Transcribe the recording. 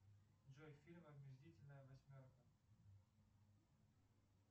джой фильм омерзительная восьмерка